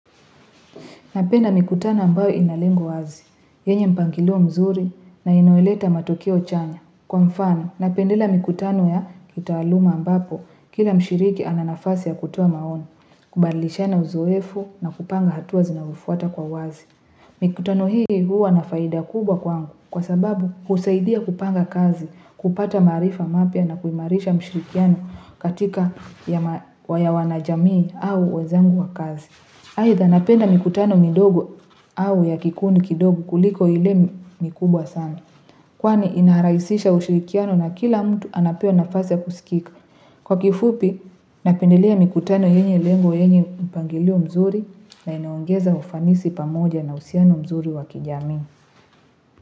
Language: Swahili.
Napenda mikutano ambayo inalengo wazi, yenye mpangilio mzuri na inayoleta matokeo chanya. Kwa mfano, napendela mikutano ya kitaaluma ambapo, kila mshiriki ananafasi ya kutoaa maoni, kubalishana uzoefu na kupanga hatua zinazofuata kwa wazi. Mikutano hii huwa na faida kubwa kwangu kwa sababu husaidia kupanga kazi, kupata maarifa mapya na kuimarisha mshirikiano katika ya wanajamii au wezangu wa kazi. Aaidha napenda mikutano midogo au ya kikundi kidogo kuliko ile mikubwa sana. Kwani inaharaisisha ushirikiano na kila mtu anapewa nafasi kusikika. Kwa kifupi napendilea mikutano yenye lengo yenye mpangilio mzuri na inaongeza ufanisi pamoja na uhusiano mzuri wakijami.